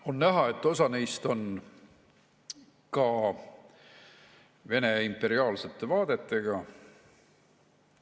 On näha, et osa neist on ka Vene imperiaalsete vaadetega.